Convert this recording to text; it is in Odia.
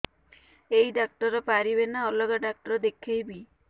ଏଇ ଡ଼ାକ୍ତର ପାରିବେ ନା ଅଲଗା ଡ଼ାକ୍ତର ଦେଖେଇବି